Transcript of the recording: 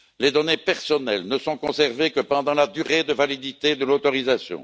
Les données personnelles ne sont conservées que pendant la durée de validité de l'autorisation.